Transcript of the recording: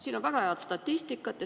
Siin on väga head statistikat.